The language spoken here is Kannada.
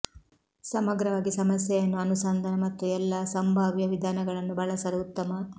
ಸಮಗ್ರವಾಗಿ ಸಮಸ್ಯೆಯನ್ನು ಅನುಸಂಧಾನ ಮತ್ತು ಎಲ್ಲಾ ಸಂಭಾವ್ಯ ವಿಧಾನಗಳನ್ನು ಬಳಸಲು ಉತ್ತಮ